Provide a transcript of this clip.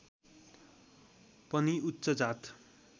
पनि उच्च जात